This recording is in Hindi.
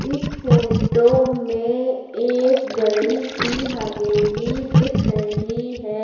इस फोटो में एक बड़ी सी हवेली दिख रही है।